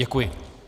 Děkuji.